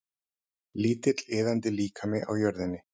Lítill iðandi líkami á jörðinni.